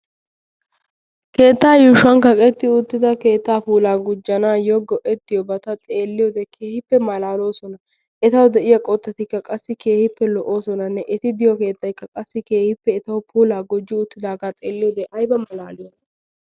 Keettaa yuushuwan kaqetti uttida keettaa puulaa gujjanaayyo go'ettiyoobata xeelliyoode keehippe malaaloosona. Etawu de'iya qottatikka qassi keehippe lo'oosonanne eti de'iyo keettaykka qassi keehippe etawu puulaa gujji uttidaaga xeelliyoode ayiba malaaliyona.